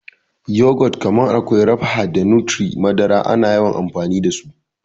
Yogurt kamar Aqua Rapha da Nutri-madara ana yawan amfani dasu.